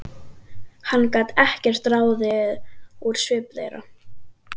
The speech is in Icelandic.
Hann gat ekkert ráðið úr svip þeirra.